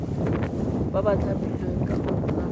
ba ba thapilweng ka konteraka